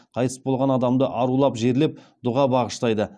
қайтыс болған адамды арулап жерлеп дұға бағыштайды